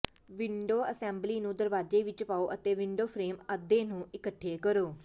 window assembly ਨੂੰ ਦਰਵਾਜ਼ੇ ਵਿੱਚ ਪਾਓ ਅਤੇ ਵਿੰਡੋ ਫਰੇਮ ਅੱਧੇ ਨੂੰ ਇੱਕਠੇ ਕਰੋ